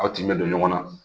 Aw tin bɛ don ɲɔgɔn na